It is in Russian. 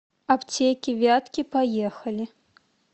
аптеки вятки поехали